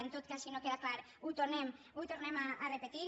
en tot cas si no queda clar ho tornem a repetir